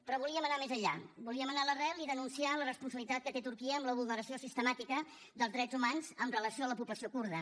però volíem anar més enllà volíem anar a l’arrel i denunciar la responsabilitat que té turquia en la vulneració sistemàtica dels drets humans amb relació a la població kurda